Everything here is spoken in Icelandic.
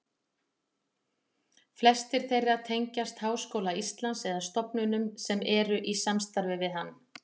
Flestir þeirra tengjast Háskóla Íslands eða stofnunum sem eru í samstarfi við hann.